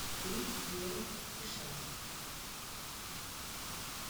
фильм с пьером ришаром